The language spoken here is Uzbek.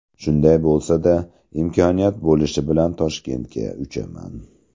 Shunday bo‘lsa-da, imkoniyat bo‘lishi bilan Toshkentga uchaman.